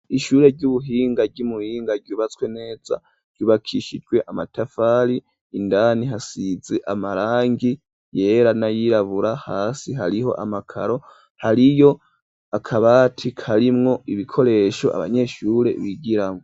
ishure ry'ubuhinga ry'umuhinga ryubatswe neza ryubakishijwe amatafari indani hasizi amarangi yera nayirabura hasi hariho amakaro hariyo akabati karimwo ibikoresho abanyeshure bigiramo.